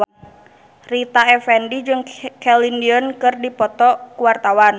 Rita Effendy jeung Celine Dion keur dipoto ku wartawan